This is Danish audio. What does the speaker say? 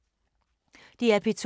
DR P2